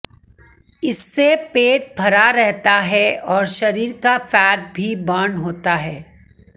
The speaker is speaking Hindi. इससे पेट भरा रहता है और शरीर का फैट भी बर्न होता है